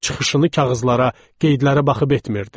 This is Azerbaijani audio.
Çıxışını kağızlara, qeydlərə baxıb etmirdi.